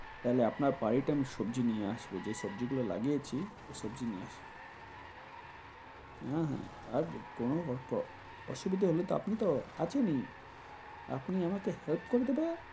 দাদা আপনার বাড়িতে আমি সবজি নিয়ে আসবো। যে সবজি গুলো লাগিয়েছি, সে সবজি নিয়ে আসবো। আহ লাগবে কুমড়ো ভর্তাঅসুবিধা হলেতো আপনি তো আছেন ই। আপনি আমাকে help করতে পারবেন।